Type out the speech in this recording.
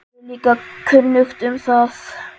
Mér er líka kunnugt um það.